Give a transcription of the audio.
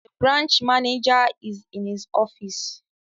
The branch managwer is in his office